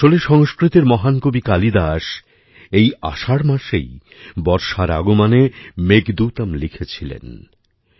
আসলে সংস্কৃতের মহান কবি কালিদাস এই আষাঢ় মাসেই বর্ষার আগমনে মেঘদূতম্ লিখেছিলেন